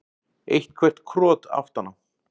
Eitthvert krot aftan á.